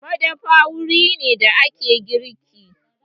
Madafa wuri ne da ake girki.